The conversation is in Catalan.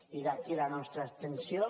i d’aquí la nostra abstenció